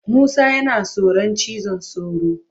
Musa yana tsoron cizon sauro.